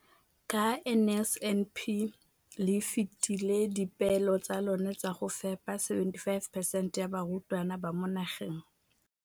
Ka NSNP le fetile dipeelo tsa lona tsa go fepa masome a supa le botlhano a diperesente ya barutwana ba mo nageng.